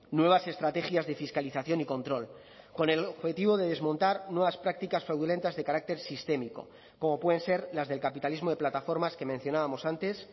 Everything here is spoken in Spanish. nuevas estrategias de fiscalización y control con el objetivo de desmontar nuevas prácticas fraudulentas de carácter sistémico como pueden ser las del capitalismo de plataformas que mencionábamos antes